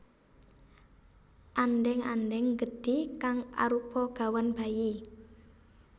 Andheng andheng gedhi kang arupa gawan bayi